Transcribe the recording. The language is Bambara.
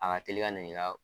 A ka tei ka na n'i ka